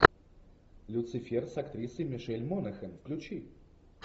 люцифер с актрисой мишель монахан включи